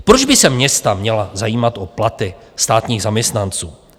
Proč by se města měla zajímat o platy státních zaměstnanců?